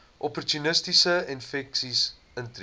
opportunistiese infeksies intree